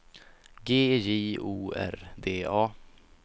G J O R D A